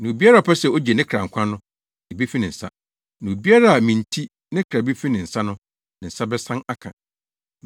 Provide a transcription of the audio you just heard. Na obiara a ɔpɛ sɛ ogye ne kra nkwa no, ebefi ne nsa, na obiara a me nti, ne kra befi ne nsa no, ne nsa bɛsan aka.